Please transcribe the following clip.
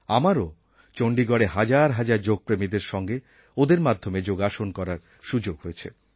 আমাকেও চণ্ডীগড়ে হাজার হাজার যোগপ্রেমীদের সঙ্গে ওদের মাধ্যমে যোগাসন করার সুযোগ হয়েছে